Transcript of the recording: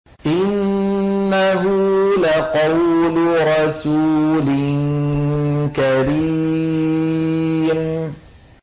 إِنَّهُ لَقَوْلُ رَسُولٍ كَرِيمٍ